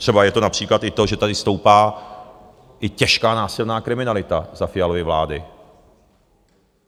Třeba je to například i to, že tady stoupá i těžká násilná kriminalita za Fialovy vlády.